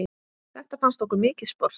Þetta fannst okkur mikið sport.